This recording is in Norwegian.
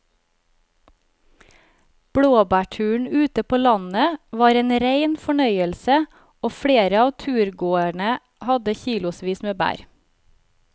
Blåbærturen ute på landet var en rein fornøyelse og flere av turgåerene hadde kilosvis med bær.